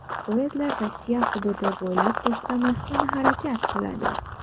Poyezdlar Rossiya hududi bo‘ylab to‘xtamasdan harakat qiladi.